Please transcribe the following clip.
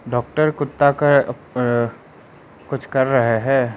Doctor कुत्ता का अ कुछ कर रहा है।